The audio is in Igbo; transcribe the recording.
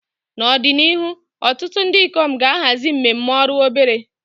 N'ọdịnihu, ọtụtụ ndị ikom ga-ahazi mmemme ọrụ ebere.